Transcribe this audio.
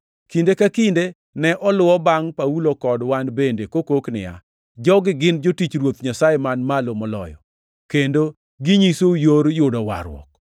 Kinde ka kinde ne oluwo bangʼ Paulo kod wan bende, kokok niya, “Jogi gin jotich Ruoth Nyasaye man Malo Moloyo, kendo ginyisou yor yudo warruok.”